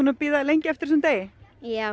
að bíða lengi eftir þessum degi já